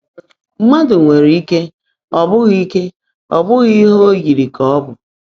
Mmadụ nwere ike ọ bụghị ike ọ bụghị ihe o yiri ka ọ bụ.